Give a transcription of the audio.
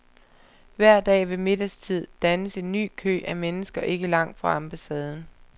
Hver dag ved middagstid dannes en ny kø af mennesker ikke langt fra ambassaden.